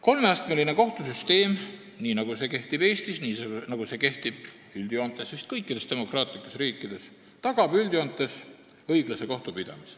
Kolmeastmeline kohtusüsteem, nii nagu see kehtib Eestis ja nii nagu see kehtib üldjoontes vist kõikides demokraatlikes riikides, tagab üldjoontes õiglase kohtupidamise.